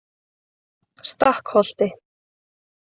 Stakkholti